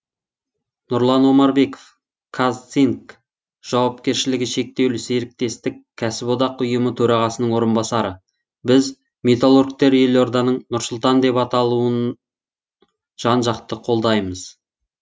нұрлан омарбеков казцинк жауапкершілігі шектеулі серіктестік кәсіподақ ұйымы төрағасының орынбасары біз металлургтер елорданың нұр сұлтан деп аталауын жан жақты қолдаймыз